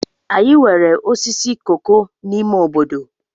Anyị nwere osisi koko n'ime obodo.